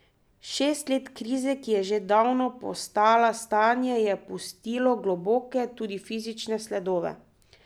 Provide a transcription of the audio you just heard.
Šest let krize, ki je že davno postala stanje, je pustilo globoke, tudi fizične sledove.